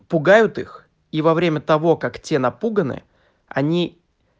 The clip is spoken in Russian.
пугают их и во время того как те напуганы они